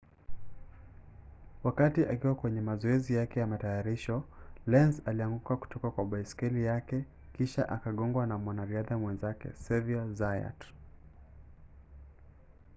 wakati akiwa kwenye mazoezi yake ya matayarisho lenz alianguka kutoka kwa baiskeli yake kisha akagongwa na mwanariadha mwenzake xavier zayat